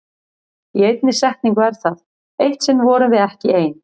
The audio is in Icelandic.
Í einni setningu er það: Eitt sinn vorum við ekki ein.